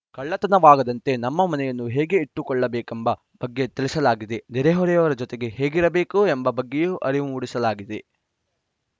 ಕಳ್ಳತನವಾಗದಂತೆ ನಮ್ಮ ಮನೆಯನ್ನು ಹೇಗೆ ಇಟ್ಟುಕೊಳ್ಳಬೇಕೆಂಬ ಬಗ್ಗೆ ತಿಳಿಸಲಾಗಿದೆ ನೆರೆಹೊರೆಯವರ ಜೊತೆಗೆ ಹೇಗಿರಬೇಕು ಎಂಬ ಬಗ್ಗೆಯೂ ಅರಿವು ಮೂಡಿಸಲಾಗಿದೆ